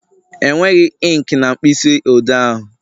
Enweghị inki na mkpịsị odee ahụ